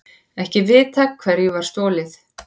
Ekki vitað hverju var stolið